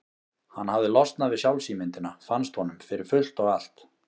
Hann hafði losnað við sjálfsímyndina, fannst honum, fyrir fullt og allt.